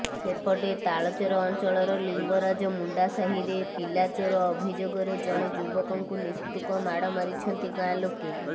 ସେପଟେ ତାଳଚେର ଅଞ୍ଚଳର ଲିଙ୍ଗରାଜ ମୁଣ୍ଡାସାହିରେ ପିଲାଚୋର ଅଭିଯୋଗରେ ଜଣେ ଯୁବକଙ୍କୁ ନିସ୍ତୁକ ମାଡ ମାରିଛନ୍ତି ଗାଁଲୋକେ